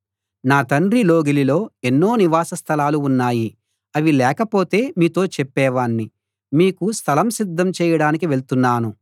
నా తండ్రి లోగిలిలో ఎన్నో నివాస స్థలాలు ఉన్నాయి అవి లేకపోతే మీతో చెప్పేవాణ్ణి మీకు స్థలం సిద్ధం చెయ్యడానికి వెళ్తున్నాను